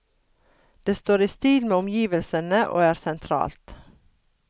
Det står i stil med omgivelsene og er sentralt.